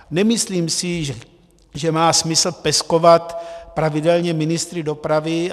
Nemyslím si, že má smysl peskovat pravidelně ministry dopravy.